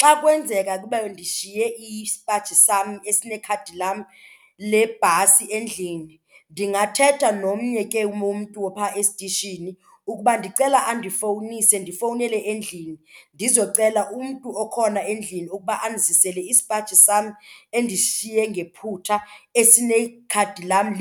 Xa kwenzeka kube ndishiye isipaji sam esinekhadi lam lebhasi endlini, ndingathetha nomnye ke womntu ophaa esitishini ukuba ndicela andifowunise ndifowunele endlini ndizocela umntu okhona endlini ukuba andizisele isipaji sam endisishiye ngephutha esinekhadi lam